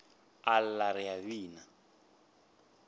a lla re a bina